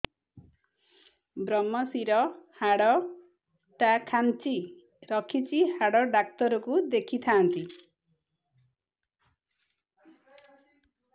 ଵ୍ରମଶିର ହାଡ଼ ଟା ଖାନ୍ଚି ରଖିଛି ହାଡ଼ ଡାକ୍ତର କୁ ଦେଖିଥାନ୍ତି